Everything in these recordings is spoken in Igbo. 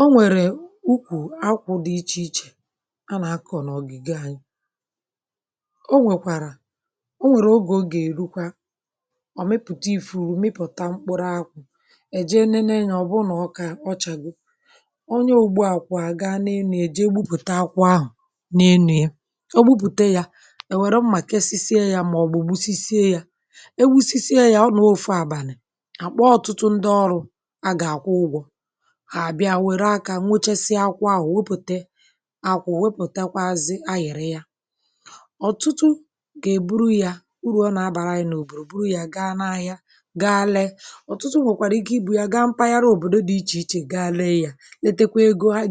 O nwèrụ̀ ụdị̀ akwù dị iche iche nke a na-akọ̀ n’ùbò̀ ala anyị. Akwù nwere oge ya ma mgbe oge ahụ̀ bịara ọ na-amịpụta bunch akwù. Ọ bụrụ na bunch akwù ahụ̀ akọrọla onye ọrụ ugbo na-agbagharị n’elu osisi ma gbutuo ya site n’iji mma ugbo. Mgbe e gburu ya a na-agbasa ya ma ọ bụ kwatuo ya. Mgbe a kwaturu ya ọtụtụ mmadụ na-ezukọta n’abalị iji mee ya. Ọtụtụ ndị ọrụ ugbo na-abịa iji nyere aka ịkụpụta mkpụrụ akwù ma kewaa ha na bunch ahụ. A na-eburu mkpụrụ ahụ̀ gawa. Urù akwù dị ọtụtụ. A na-eburu mkpụrụ akwù gaa ahịa ma ree ya n’obodo dị iche iche. Ndị mmadụ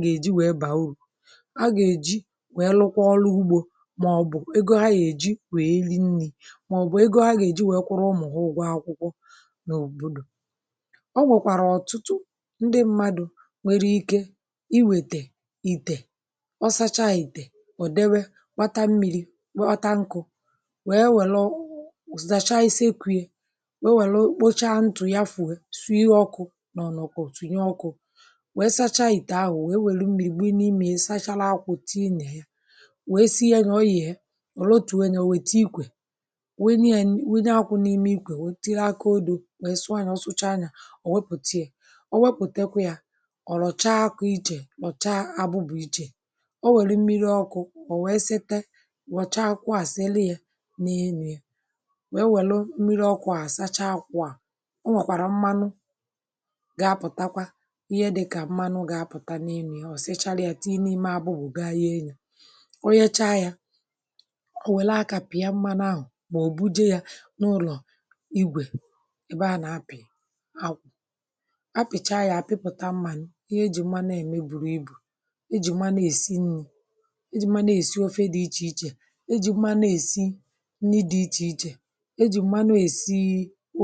na-eji ego ahụ̀ eme onwe ha ihe zụta ihe ha chọrọ tinye ego n’ime ọrụ ugbo ma ọ bụ kwụọ ụgwọ akwụkwọ ụmụ ha. Mgbe a kpọrọ akwù n’ụlọ a na-awụsa ya n’ime ite ma ọ bụ akpa saa ya nke ọma ma sie ya na ọkụ̀ nku. Mgbe e sịrị ya a na-akụcha ya ma ọ bụ kpọọ ya mmiri a na-etinye mmiri iji kpochapụ mmanụ. A na-anakọta mmanụ ahụ̀ kpochapụ ya ma kewaa ya. Mgbe ahụ̀ a na-agbaji mkpụrụ akwù ma sachaa ha. Ọ nwekwara mgbe a na-awụsa mmiri ọkụ̀ n’elu ha iji saa ha ọzọ. Site n’ime usoro a a na-amịpụta mmanụ akwù. Mmanụ akwù nwere ọtụtụ ojiji. A na-eji ya esi nri dị iche iche dịka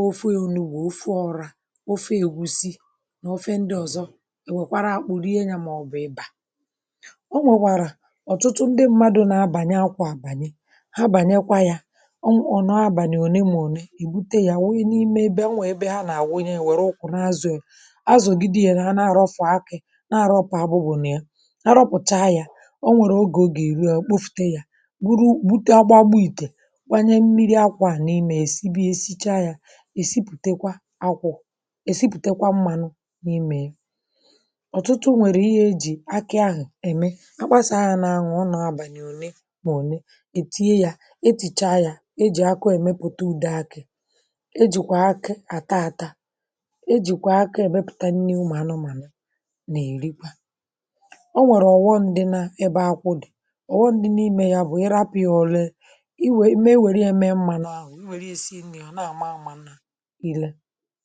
ofe ọkwà ofe egwusi na ụdị̀ ofe omenala ndị ọzọ. Mkpụrụ akwù nke dị n’ime bụ̀kwa ihe bara uru. A pịakwasị ya n’ụlọ igwe a na-enweta mmanụ akwù-kernel. Mmanụ a nwere ọtụtụ ojiji maka esi nri maka ime sọọpụ̀ na maka ihe ndị ọzọ n’ụlọ na n’ụlọ ọrụ. Ọtụtụ mmadụ na-erite uru site n’akwù. Ndị na-ere ahịa ndị na-azụta na ndị na-etinye aka n’azụ ahịa. A na-awụsa mmanụ akwù n’ime akpa bugara ya na ụgbọ ala ma ree ya n’ahịa. Mgbe ụfọdụ a na-esi akwù n’ime ite ukwu gwakọta ya na mmiri kpọọ ya ma sịkwa ya ọzọ iji nweta mmanụ ọzọ. Site n’akwù a na-enweta mmanụ akwù na mmanụ kernel. Mkpụrụ akwù dị n’ime nwekwara ojiji ọzọ. A pụrụ isi ya mee mmanya ọkụ̀ gbaa ya nkụ ma rie ya dịka nri nta. A nwekwara ike iji ya mee nri anụ ụlọ. Akwù na-eto n’ọtụtụ ebe ma ebe ọ bụla a hụrụ ya ọ na-enye akụ̀ na ndụ bara uru. Ọ bụrụ na ị kụ̀ akwù ọ na-eweta uru ma ọ bụrụ na ị chịkọtara ya nke ọma um ị ga-enwe ọtụtụ uru site na ojiji ya.